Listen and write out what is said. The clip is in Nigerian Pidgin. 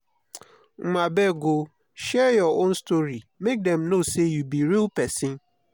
um abeg o share your own story make dem know sey you be real pesin.